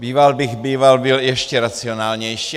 Býval bych býval byl ještě racionálnější.